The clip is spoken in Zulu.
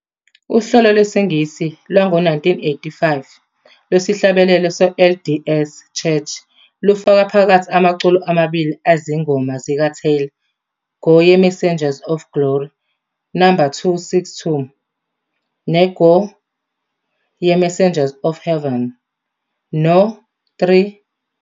Uhlelo lwesiNgisi lwango-1985 lwesihlabelelo se- LDS Church lufaka phakathi amaculo amabili anezingoma zikaTaylor, "Go Ye Messengers of Glory", no. 262, ne- "Go, Ye Messengers of Heaven", no. 327.